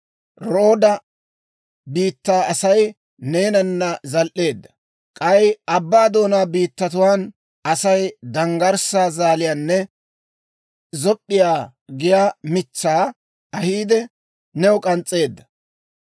Rooda biittaa Asay neenana zal"eedda; k'ay abbaa doonaa biittatuwaan Asay danggarssaa zaaliyaanne zop'p'iyaa giyaa mitsaa ahiide, new k'ans's'eedda.